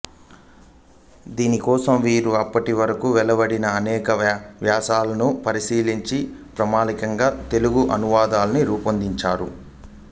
దీనికోసం వీరు అప్పటివరకు వెలువడిన అనేక వ్యాఖ్యానాలను పరిశీలించి ప్రామాణికంగా తెలుగు అనువాదాన్ని రూపొందించారు